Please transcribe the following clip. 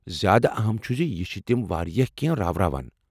زیادٕ اہم چھ یہ ز تم چھ واریاہ کٮ۪نٛہہ راوراوان۔